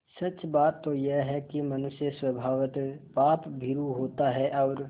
सच बात तो यह है कि मनुष्य स्वभावतः पापभीरु होता है और